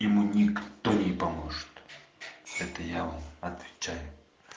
ему никто не поможет это я вам отвечаю